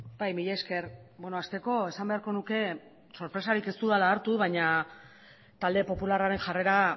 bai mila esker hasteko esan beharko nuke sorpresari ez dudala harta baina talde popularraren jarrera